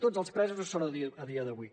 tots els presos ho són a dia d’avui